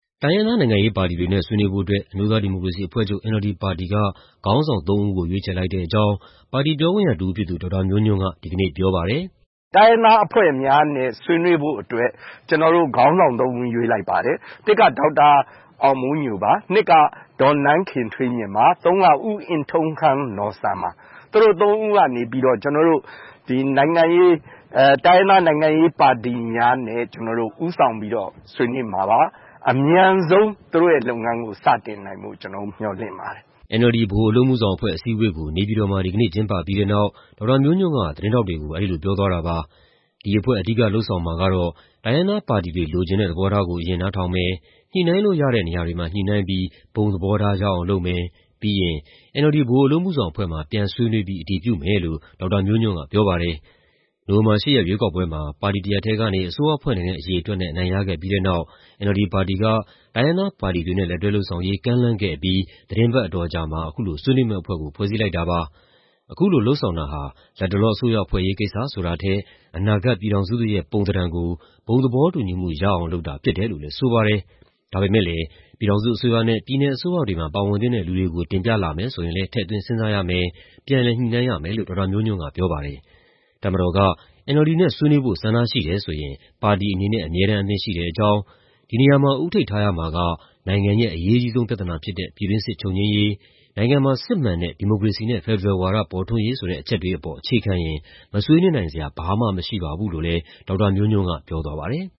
တိုင်းရင်းသား နိုင်ငံရေးပါတီတွေနဲ့ ဆွေးနွေးဖို့အတွက် အမျိုးသားဒီမိုကရေစီအဖွဲ့ချုပ် ပါတီက ခေါင်းဆောင် ၃ ဦးကို ရွေးချယ်လိုက်တဲ့အကြောင်း ပါတီပြောခွင့်ရတဦးဖြစ်သူ ဒေါက်တာမျိုးညွန့်က ဒီကနေ့ပြောပါတယ်။ “တိုင်းရင်းသားအဖွဲ့များနဲ့ ဆွေးနွေးဖို့အတွက် ကျနော်တို့ ခေါင်းဆောင် ၃ ဦး ရွေးလိုက်ပါတယ်။ တစ်က ဒေါက်တာအောင်မိုးညိုပါ၊ နှစ်က ဒေါ်နန်းခင်ထွေးမြင့်ပါ၊ သုံးက ဦးအင်ထုံးခန်းနော်ဆန်ပါ။ သူတို့ ၃ ဦးကနေပြီးတော့ တိုင်းရင်းသား နိုင်ငံရေးပါတီများနဲ့ ဦးဆောင်ပြီးတော့ ဆွေးနွေးမှာပါ။ အမြန်ဆုံး သူတို့ရဲ့လုပ်ငန်းကို စတင်နိုင်ဖို့ ကျနော်တို့ မျှော်လင့်ပါတယ်။” NLD ဗဟိုအလုပ်အမှုဆောင်အဖွဲ့ အစည်းအဝေးကို နေပြည်တော်မှာ ဒီကနေ့ ကျင်းပပြီးတဲ့နောက် ဒေါက်တာမျိုးညွန့်က သတင်းထောက်တွေကို အဲဒီလိုပြောသွားတာပါ။ ဒီအဖွဲ့ အဓိကလုပ်ဆောင်မှာကတော့ တိုင်းရင်းသားပါတီတွေ လိုချင်တဲ့ သဘောထားကို အရင်နားထောင်မယ်၊ ညှိနှိုင်းလို့ရတဲ့ နေရာတွေမှာ ညှိနှိုင်းပြီး ဘုံသဘောထား ရအောင်လုပ်မယ်၊ ပြီးရင် NLD ဗဟိုအလုပ်အမှုဆောင်အဖွဲ့မှာ ပြန်ဆွေးနွေးပြီး အတည်ပြုမယ်လို့ ဒေါက်တာမျိုးညွန့်က ပြောပါတယ်။ နိုဝင်ဘာ ၈ ရက် ရွေးကောက်ပွဲမှာ ပါတီတရပ်တည်းကနေ အစိုးရဖွဲ့နိုင်တဲ့ အရေအတွက်နဲ့ အနိုင်ရခဲ့ပြီးတဲ့နောက် NLD ပါတီက တိုင်းရင်းသားပါတီတွေနဲ့ လက်တွဲလုပ်ဆောင်ရေး ကမ်းလှမ်းခဲ့အပြီး သီတင်းပတ်အတော်အကြာမှာ အခုလို ဆွေးနွေးမယ့်အဖွဲ့ကို ဖွဲ့စည်းလိုက်တာပါ။ အခုလိုလုပ်ဆောင်တာဟာ လတ်တလော အစိုးရဖွဲ့ရေးကိစ္စ ဆိုတာထက် အနာဂတ် ပြည်ထောင်စုသစ်ရဲ့ ပုံသဏ္ဌာန်ကို ဘုံသဘောတူညီမှု ရအောင်လုပ်တာ ဖြစ်တယ်လို့လည်း ဆိုပါတယ်။ ဒါပေမယ့်လည်း ပြည်ထောင်စုအစိုးရနဲ့ ပြည်နယ်အစိုးရတွေမှာ ပါဝင်သင့်တဲ့ လူတွေကို တင်ပြလာမယ် ဆိုရင်လည်း ထည့်သွင်းစဉ်းစားရမယ်၊ ပြန်လည်ညှိနှိုင်းရမယ်လို့ ဒေါက်တာမျိုးညွန့်က ပြောပါတယ်။ တပ်မတော်က NLD နဲ့ ဆွေးနွေးဖို့ ဆန္ဒရှိတယ်ဆိုရင် ပါတီအနေနဲ့ အမြဲတမ်း အသင့်ရှိတဲ့အကြောင်း၊ ဒီနေရာမှာ ဦးထိပ်ထားရမှာက နိုင်ငံရဲ့ အရေးကြီးဆုံး ပြဿနာဖြစ်တဲ့ ပြည်တွင်းစစ်ချုပ်ငြိမ်းရေး၊ နိုင်ငံမှာ စစ်မှန်တဲ့ ဒီမိုကရေစီနဲ့ ဖက်ဒရယ်ဝါဒ ပေါ်ထွန်းရေးဆိုတဲ့ အချက်တွေအပေါ် အခြေခံရင် မဆွေးနွေးနိုင်စရာ ဘာမှမရှိပါဘူးလို့လည်း ဒေါက်တာမျိုးညွန့်က ပြောသွားပါတယ်။